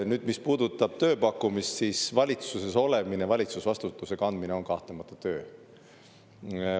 Nüüd, mis puudutab tööpakkumist, siis valitsuses olemine, valitsusvastutuse kandmine on kahtlemata töö.